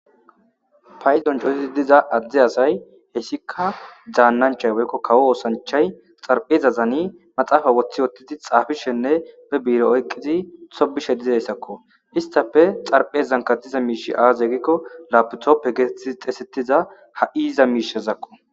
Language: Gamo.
Payizon cootizi diza adde asay hessika dzaannanchay weykko kawo oosanchay xarpheza zani maxaafa woththi wottidi xaafishenne be biire oyqqizi hobishe dizayssakko istafe xarphe zanka diza miishi aaz egikko lapitoppe geeti xeesetiza ha'i iiza miishazakko